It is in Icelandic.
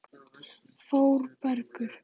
Þórbergur